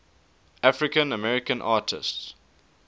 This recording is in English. african american artists